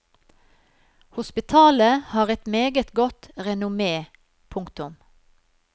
Hospitalet har et meget godt renommé. punktum